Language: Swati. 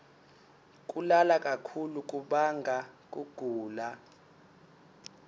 kulala kakhulu kubanga kugula